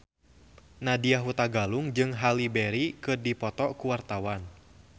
Nadya Hutagalung jeung Halle Berry keur dipoto ku wartawan